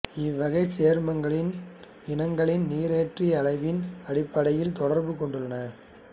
இவ்வகைச் சேர்மங்களின் இனங்கள் நீரேற்ற அளவின் அடிப்படையில் தொடர்பு கொண்டுள்ளன